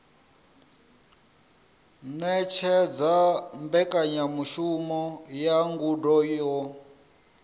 ṅetshedza mbekanyamushumo ya ngudo yo